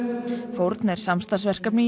fórn er samstarfsverkefni